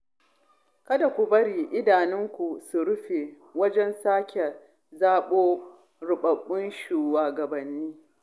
Kada ku bari idanunku su rufe wajen sake zaɓo ruɓaɓɓun shugabanni